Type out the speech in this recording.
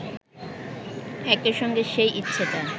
একই সঙ্গে সেই ইচ্ছেটা